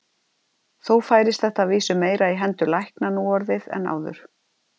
Þó færist þetta að vísu meira í hendur lækna nú orðið en áður.